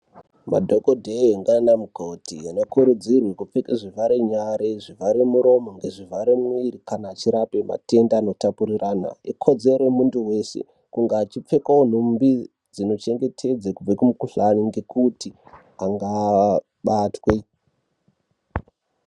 Madhokodheya ngaana mukoti, ano kurudzirwa kupfeka zvivhara nyara zvivhare muromo ngezvivhare mumwiri kana achirape matenda ano tapiriranwa. Ikodzero yemunthu weshe kunge achipfekawo nhumbi dzino chengetedza kubva kumikhuhlani ngekuti angabatwe.